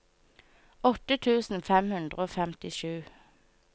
åtte tusen fem hundre og femtisju